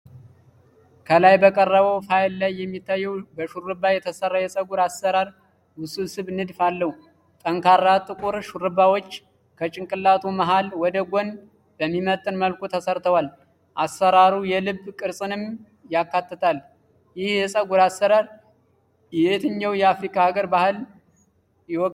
ከላይ በቀረበው ፋይል ላይ የሚታየው በሽሩባ የተሰራ የፀጉር አሰራር ውስብስብ ንድፍ አለው። ጠንካራ ጥቁር ሽሩባዎች ከጭንቅላቱ መሃል ወደ ጎን በሚመጥን መልኩ ተሰርተዋል፤ አሰራሩ የልብ ቅርጽንም ያካትታል። ይህ የፀጉር አሰራር የየትኛው አፍሪካ ሀገር ባህል ይወክላል?